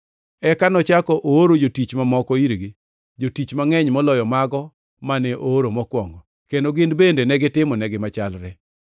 Eka nochako ooro jotich mamoko irgi; jotich mangʼeny moloyo mago mane ooro mokwongo, kendo gin bende negitimonegi machalre.